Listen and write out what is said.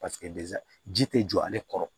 Paseke ji tɛ jɔ ale kɔrɔ